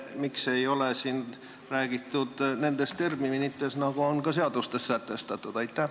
Miks ei räägita siin nendes terminites, nagu on ka seadustes sätestatud?